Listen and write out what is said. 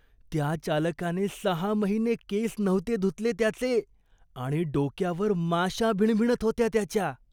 त्या चालकाने सहा महिने केस नव्हते धुतले त्याचे आणि डोक्यावर माशा भिणभिणत होत्या त्याच्या.